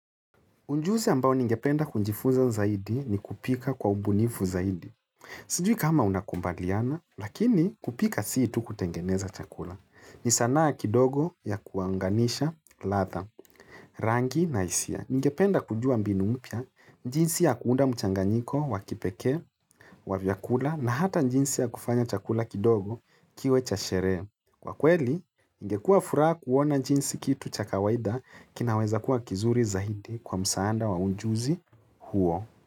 Ujuzi ambao ningependa kunjifunza zaidi ni kupika kwa ubunifu zaidi. Sijui kama unakumbaliana, lakini kupika siitu kutengeneza chakula. Ni sanaa kidogo ya kuanganisha latha, rangi na hisia. Ningependa kujua mbinu mpya, jinsi ya kuunda mchanganyiko, wakipekee, wa vyakula, na hata jinsi ya kufanya chakula kidogo kiwe chasherehe. Kwa kweli, ingekuwa furaha kuona jinsi kitu chakawaida kinaweza kuwa kizuri zaidi kwa msaada wa ujuzi huo.